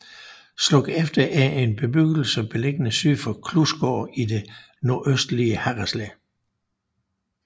Slukefter er en bebgyggelse beliggende syd for Klusgaard i det nordøstlige Harreslev